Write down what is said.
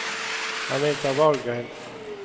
Anita Wahlgren